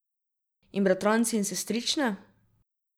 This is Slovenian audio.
In bratranci in sestrične?